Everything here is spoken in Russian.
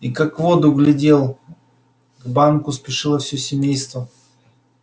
и как в воду глядел к банку спешило всё семейство